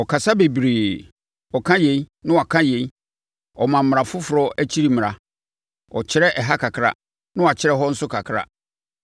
Ɔkasa bebree: Ɔka yei, na waka yei ɔma mmara foforɔ akyi mmara; ɔkyerɛ ɛha kakra, na wakyerɛ ɛhɔ nso kakra.”